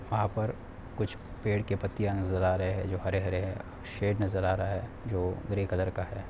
वहाँ पर कुछ पेड़ की पत्तिया नजर आ रहे है जो हरे-हरे है। शैड नजर आ रहा है जो ग्रे कलर का है।